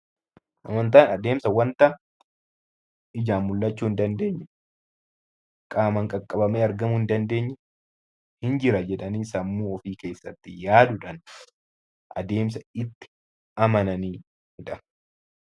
Amantaan wanta ijaan mul'achuu hin dandeenye qaamaan kan qabamee argamuu hin dandeenye ni jira jedhanii sammuu ofii keessatti yaaduudhaan adeemsa itti amananidha.